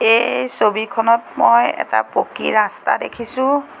এই ছবিখনত মই এটা পকী ৰাস্তা দেখিছোঁ।